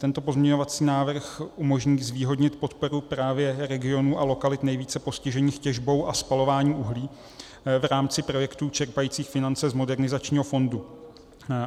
Tento pozměňovací návrh umožní zvýhodnit podporu právě regionů a lokalit nejvíce postižených těžbou a spalováním uhlí v rámci projektů čerpajících finance z Modernizačního fondu.